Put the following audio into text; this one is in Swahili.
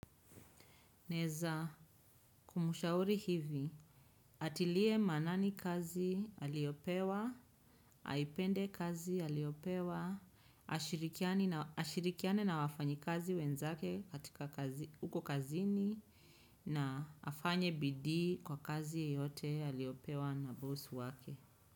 Naeza, kumshauri hivi, atilie maanani kazi aliopewa, aipende kazi aliopewa, ashirikiane na wafanyikazi wenzake katika huko kazini na afanye bidii kwa kazi yote aliopewa na boss wake.